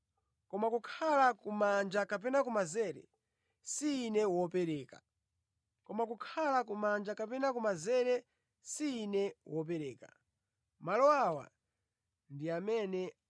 koma kukhala kumanja kapena kumanzere si Ine wopereka. Malo awa ndi a amene anasankhidwiratu.”